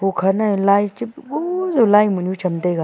ukha nae laicheh puhbu jaw laimunyu cham taiga.